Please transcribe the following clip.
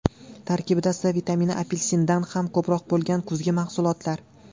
Tarkibida C vitamini apelsindan ham ko‘proq bo‘lgan kuzgi mahsulotlar.